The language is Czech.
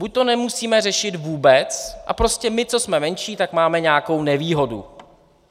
Buď to nemusíme řešit vůbec a prostě my, co jsme menší, tak máme nějakou nevýhodu.